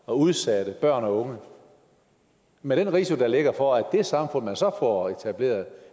og udsatte børn og unge med den risiko der ligger for at det samfund man så får etableret